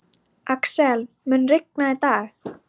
Axel, mun rigna í dag?